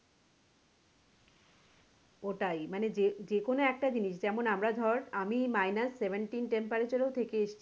ওটাই মানে যেকোনো একটা জিনিস মানে আমরা ধর আমি minus seventeen temperature এও থেকে এসছি